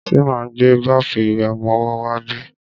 Ṣe ma gbé báfù ìwẹ̀ ọmọwọ́ wá bí?